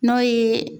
N'o ye